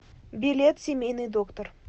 билет семейный доктор